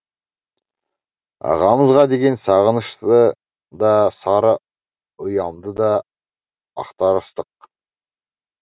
ағамызға деген сағынышты да сары ұямды да ақтарыстық